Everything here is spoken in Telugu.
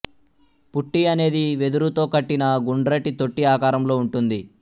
పుట్టి అనేది వెదురుతో కట్టిన గుండ్రటి తొట్టి ఆకారంలో ఉంటుంది